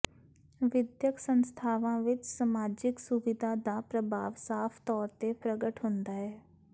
ਵਿਦਿਅਕ ਸੰਸਥਾਵਾਂ ਵਿੱਚ ਸਮਾਜਿਕ ਸੁਵਿਧਾ ਦਾ ਪ੍ਰਭਾਵ ਸਾਫ ਤੌਰ ਤੇ ਪ੍ਰਗਟ ਹੁੰਦਾ ਹੈ